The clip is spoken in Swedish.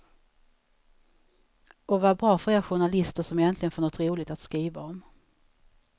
Och vad bra för er journalister, som äntligen får något roligt att skriva om.